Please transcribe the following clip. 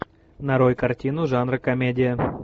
нарой картину жанра комедия